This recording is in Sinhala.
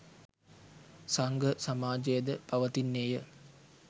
සංඝ සමාජය ද පවතින්නේ ය.